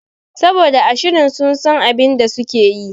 Saboda a shirin sun san abinda sukeyi